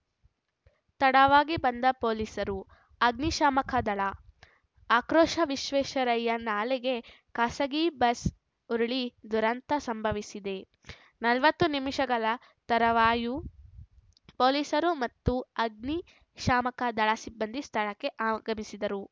ತಡವಾಗಿ ಬಂದ ಪೊಲೀಸರು ಅಗ್ನಿಶಾಮಕದಳ ಆಕ್ರೋಶ ವಿಶ್ವೇಶ್ವರಯ್ಯ ನಾಲೆಗೆ ಖಾಸಗಿ ಬಸ್‌ ಉರುಳಿ ದುರಂತ ಸಂಭವಿಸಿದೆ ನಲವತ್ತು ನಿಮಿಷಗಳ ತರುವಾಯ ಪೊಲೀಸರು ಮತ್ತು ಅಗ್ನಿಶಾಮಕದಳ ಸಿಬ್ಬಂದಿ ಸ್ಥಳಕ್ಕೆ ಆಗಮಿಸಿದರು